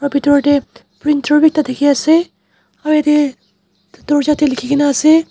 bitor tae printer bi ekta dikhiase aro yatae dorja tae likhina ase.